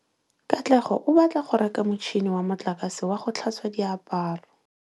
Katlego o batla go reka motšhine wa motlakase wa go tlhatswa diaparo.